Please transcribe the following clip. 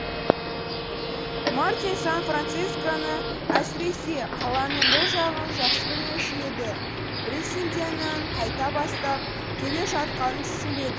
мартин сан францисконы әсіресе қаланың бұл жағын жақсы білмеуші еді бриссенденнің қайда бастап келе жатқанын түсінбеді